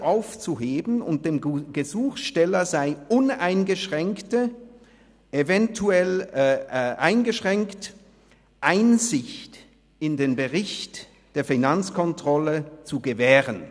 ] sei aufzuheben und dem Gesuchsteller sei uneingeschränkte, eventuell eingeschränkte, Einsicht in den Bericht der Finanzkontrolle […] zu gewähren».